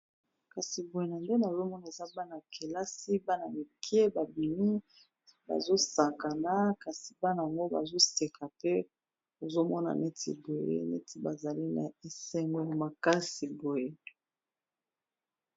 Kasi boye na nde namoni eza bana kelasi bana mikie babimi bazosakana kasi bana yango bazoseka te nozomona neti boye neti bazali na esengo ya makasi boye.